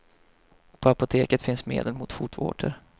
På apoteket finns medel mot fotvårtor.